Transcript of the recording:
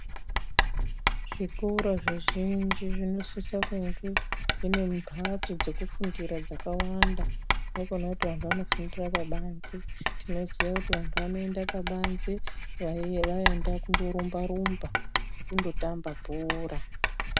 Zvikora zvizhinji zvinosisa kunge zvine mbatso dzekufundira dzakawanda haikona kuti vantu vanofundira pabanze tinoziva kuti vantu vanoenda pabanze vaenda kundorumba rumba nekundotamba bhora.